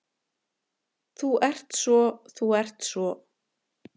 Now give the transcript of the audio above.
Þú ert svo. þú ert svo.